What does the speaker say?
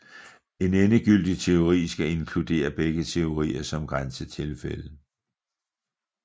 En endegyldig teori skal inkludere begge teorier som grænsetilfælde